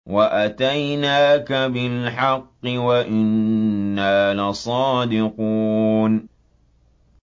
وَأَتَيْنَاكَ بِالْحَقِّ وَإِنَّا لَصَادِقُونَ